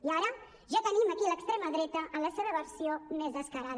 i ara ja tenim aquí l’extrema dreta en la seva versió més descarada